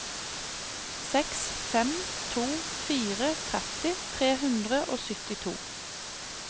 seks fem to fire tretti tre hundre og syttito